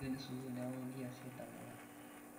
kikeni sukul inauku kiasi entemata